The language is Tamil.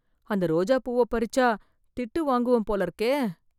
அந்த ரோஜா பூவ பறிச்சா திட்டு வாங்குவேன் போல இருக்கே